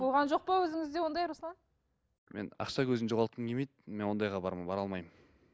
болған жоқ па өзіңізде ондай руслан мен ақша көзін жоғалтқым келмейді мен ондайға бара алмаймын